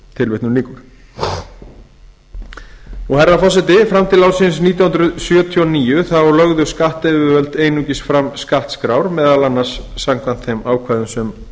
til herra forseti fram til ársins nítján hundruð sjötíu og níu lögðu skattyfirvöld einungis fram skattskrár meðal annars samkvæmt þeim ákvæðum sem